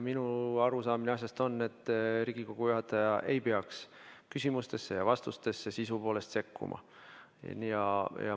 Minu arusaamine asjast on selline, et Riigikogu juhataja ei peaks küsimuste ja vastuste sisusse sekkuma.